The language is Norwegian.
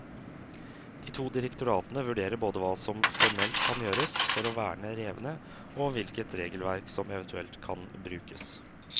De to direktoratene vurderer både hva som formelt kan gjøres for å verne revene, og hvilket regelverk som eventuelt kan brukes.